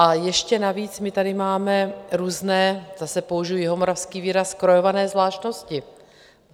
Ale ještě navíc my tady máme různé, zase použiji jihomoravský výraz, krojované zvláštnosti.